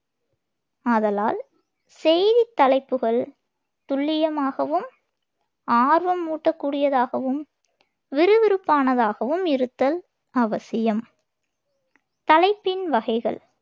ஆதலால், செய்தித் தலைப்புகள் துல்லியமாகவும், ஆர்வம் ஊட்டக் கூடியதாகவும், விறுவிறுப்பானதாகவும் இருத்தல் அவசியம் தலைப்பின் வகைகள்